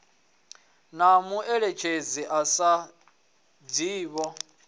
na mueletshedzi a sa dzhiiho